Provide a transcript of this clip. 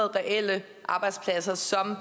reelle arbejdspladser sådan